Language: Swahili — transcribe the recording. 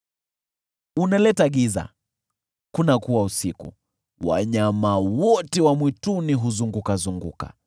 Unaleta giza, kunakuwa usiku, wanyama wote wa mwituni huzurura.